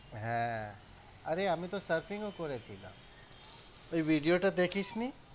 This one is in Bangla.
হ্যাঁ, আরে আমি তো surfing ও করেছিলাম, ওই video টা দেখিস নি?